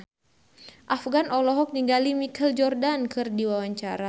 Afgan olohok ningali Michael Jordan keur diwawancara